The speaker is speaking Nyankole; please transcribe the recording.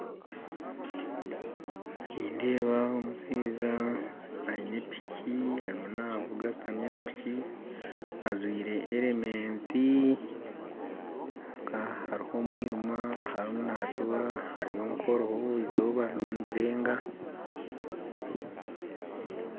Nindeeba omushaija aine piki arumu navuga ashutami aha piki ajwire helemeti kwonka haruho omwirima aharuho natora haruho nk'oruho eizooba rirumu nirirenga.